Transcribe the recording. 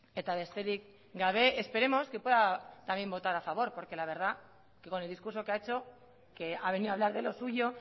esperemos que pueda también votar a favor porque la verdad con el discurso que ha hecho que ha venido a hablar de lo suyo